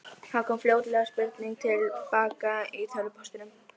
Það kom fljótlega spurning til baka í tölvupóstinum.